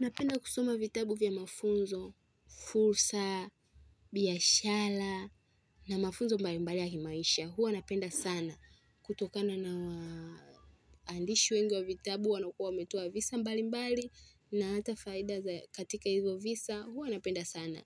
Napenda kusoma vitabu vya mafunzo, fursa, biashara na mafunzo mbali mbali ya kimaisha. Huwa napenda sana. Kutokana na waandishi wengi wa vitabu wanaokuwa wametoa visa mbali mbali na hata faida za katika hivyo visa. Hua napenda sana.